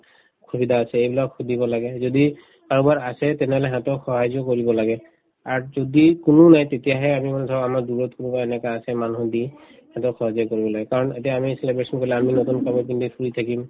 অসুবিধা আছে এইবিলাক সুধিব লাগে যদি কাৰোবাৰ আছে তেনেহলে সিহঁতক সাহাৰ্য্য কৰিব লাগে আৰু যদি কোনো নাই তেতিয়াহে আমি আমাৰ দূৰত কোনোবা এনেকুৱা আছে মানুহ সিহঁতক সাহাৰ্য্য কৰিব লাগে কাৰণ এতিয়া আমি celebration কৰিলে আমি নতুন কাপোৰ পিন্ধি ফুৰি থাকিম